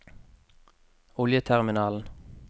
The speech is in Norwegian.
oljeterminalen